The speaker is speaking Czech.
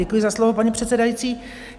Děkuji za slovo, paní předsedající.